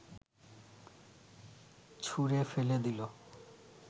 ছুঁড়ে ফেলে দিল